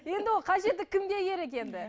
енді ол қажеті кімге керек енді